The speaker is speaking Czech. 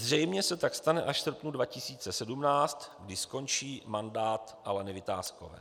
Zřejmě se tak stane až v srpnu 2017, kdy skončí mandát Aleny Vitáskové.